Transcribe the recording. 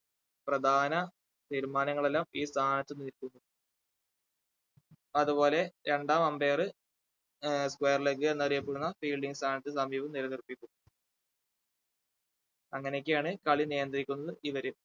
പ്രധാന തീരുമാനങ്ങൾ എല്ലാം ഈ സ്ഥാനത്തു അതുപോലെ രണ്ടാം umpire ഏർ square leg എന്നറിയപ്പെടുന്ന fielding സ്ഥാനത്ത് സമീപം നിലനിർത്തിക്കും അങ്ങനെയൊക്കെയാണ് കളി നിയന്ത്രിക്കുന്നത് ഇവർ